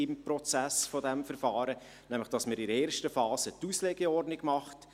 In einer ersten Phase wird eine Auslegeordnung gemacht.